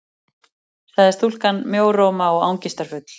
sagði stúlkan, mjóróma og angistarfull.